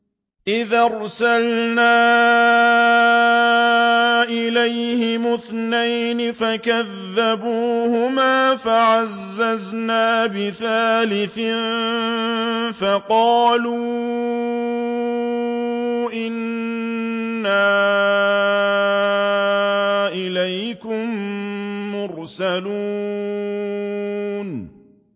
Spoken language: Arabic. إِذْ أَرْسَلْنَا إِلَيْهِمُ اثْنَيْنِ فَكَذَّبُوهُمَا فَعَزَّزْنَا بِثَالِثٍ فَقَالُوا إِنَّا إِلَيْكُم مُّرْسَلُونَ